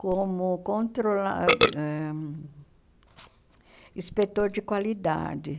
como controla ãh... inspetor de qualidade,